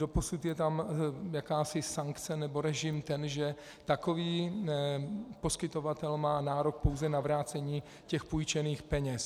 Doposud je tam jakási sankce nebo ten režim, že takový poskytovatel má nárok pouze na vrácení těch půjčených peněz.